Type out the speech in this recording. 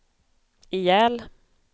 ihjäl